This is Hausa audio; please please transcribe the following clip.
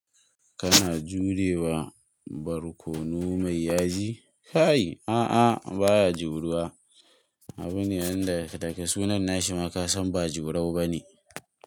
Kana jurewa barkono mai yaji? Kai a'a baya juruwa. Abu ne yanda daga sunan na shi ma ka san ba jurau bane.